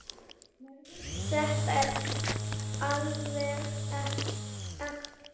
Þetta er alveg ekta.